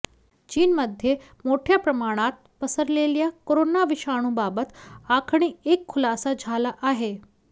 चीनमध्ये मोठ्या प्रमाणात पसरलेल्या करोना विषाणूबाबत आणखी एक खुलासा झाला आहे